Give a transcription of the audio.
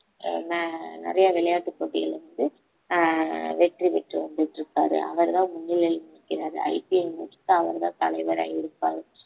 ஆஹ் ந~ நிறைய விளையாட்டுப் போட்டிகள் வந்து ஆஹ் வெற்றி பெற்று வந்துட்டு இருக்காரு அவர்தான் முன்னிலையில் நிற்கிறாரு IPL match கூட அவர்தான் தலைவரா இருப்பாரு